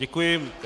Děkuji.